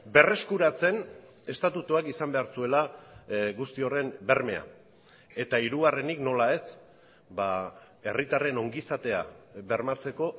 berreskuratzen estatutuak izan behar zuela guzti horren bermea eta hirugarrenik nola ez herritarren ongizatea bermatzeko